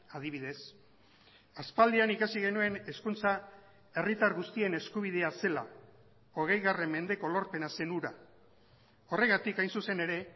adibidez aspaldian ikasi genuen hezkuntza herritar guztien eskubidea zela hogei mendeko lorpena zen hura horregatik hain zuzen ere